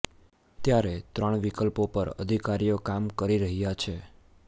ત્યારે ત્રણ વિકલ્પો પર અધિકારીઓ કામ કરી રહ્યા છે